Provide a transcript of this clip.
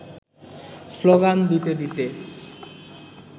slogan দিতে দিতে